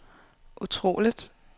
utroligt